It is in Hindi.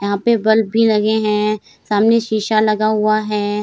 यहाँ पे बल्ब भी लगे हैं सामने शीशा लगा हुआ है।